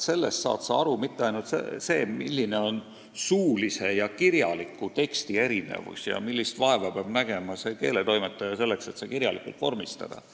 Nii saad ju aru mitte ainult seda, milline on suulise ja kirjaliku teksti erinevus, vaid ka seda, millist vaeva peab nägema keeletoimetaja, et suuline kõne kirjalikult vormistada.